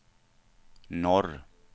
norr